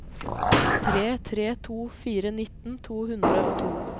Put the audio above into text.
tre tre to fire nitten to hundre og to